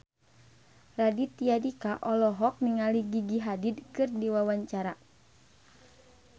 Raditya Dika olohok ningali Gigi Hadid keur diwawancara